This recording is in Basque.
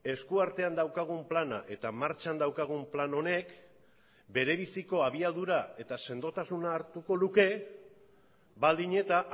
eskuartean daukagun plana eta martxan daukagun plan honek berebiziko abiadura eta sendotasuna hartuko luke baldin eta